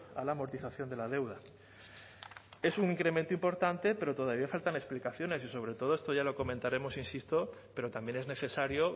a la amortización de la deuda es un incremento importante pero todavía faltan explicaciones y sobre todo esto ya lo comentaremos insisto pero también es necesario